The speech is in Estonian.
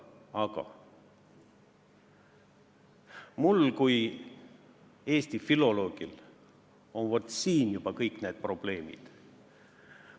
Aga mul kui eesti filoloogil on, vaat, siin juba kõik need probleemid.